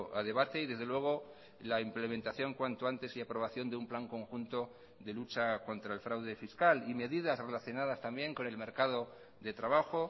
a debate y desde luego la implementación cuanto antes y aprobación de un plan conjunto de lucha contra el fraude fiscal y medidas relacionadas también con el mercado de trabajo